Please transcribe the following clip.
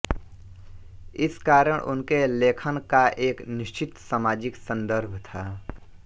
इस कारण उनके लेखन का एक निश्चित सामाजिक सन्दर्भ था